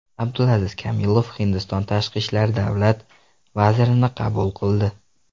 Abdulaziz Kamilov Hindiston tashqi ishlar davlat vazirini qabul qildi.